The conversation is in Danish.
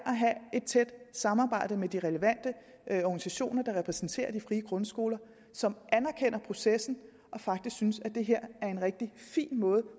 at have et tæt samarbejde med de relevante organisationer der repræsenterer de frie grundskoler som anerkender processen og faktisk synes at det her er en rigtig fin måde